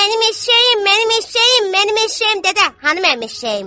Mənim eşşəyim, mənim eşşəyim, mənim eşşəyim, dədə, hanı mənim eşşəyim?